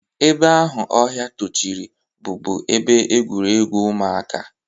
Ebe ahụ ọhịa tochiri bụbu ebe egwuregwu ụmụaka.